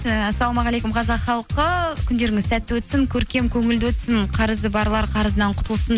ііі ассалаумағалейкум қазақ халқы күндеріңіз сәтті өтсін көркем көңілді өтсін қарызы барлар қарызынан құтылсын